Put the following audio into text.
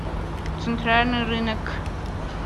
центральный рынок